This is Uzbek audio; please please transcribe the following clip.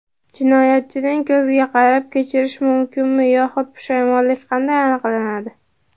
Jinoyatchining ko‘ziga qarab kechirish mumkinmi yoxud pushaymonlik qanday aniqlanadi?.